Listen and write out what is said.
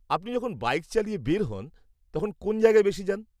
-আপনি যখন বাইক চালিয়ে বের হন, তখন কোন জায়গায় বেশি যান?